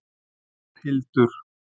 Þórhildur